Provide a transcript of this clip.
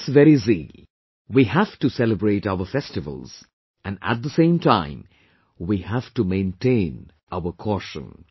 With this very zeal, we have to celebrate our festivals, and at the same time, we have to maintain our caution